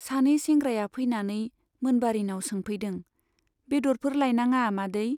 सानै सेंग्राया फैनानै मोनबारीनाव सोंफैदों , बेद'रफोर लायनाङा मादै ?